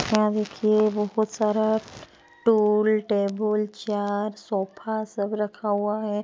यहाँ देखिए बहुत सारा टूल टेबुल चार सोफा सब रखा हुआ है।